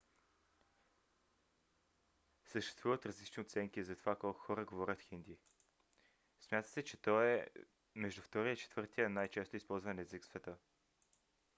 съществуват различни оценки за това колко хора говорят хинди. смята се че той е между втория и четвъртия най-често използван език в света